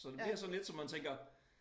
Så det bliver sådan lidt så man tænker